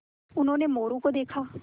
उन्होंने मोरू को देखा